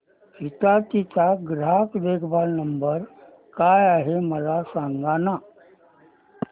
हिताची चा ग्राहक देखभाल नंबर काय आहे मला सांगाना